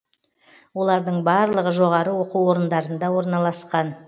олардың барлығы жоғары оқу орындарында орналасқан